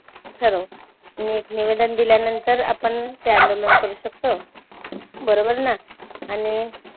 ठरवू नी नीवेदन दिल्यानंतर आपण हे अंदोलन करू शकतो. बरोबर ना? आणि